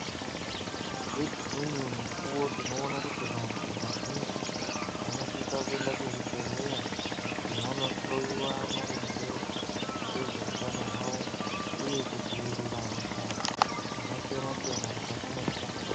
Nedzimweni mukuwo tinoona kuti vanhu vazhinji vanosise kuende kuzvibhedhlera kuti vandohloyiwa maringe ngezveutano hwavo uye kudzivirira hosha dzakasiyana siyana mukati mwendaramo yedu.